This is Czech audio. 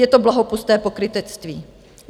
Je to bohapusté pokrytectví.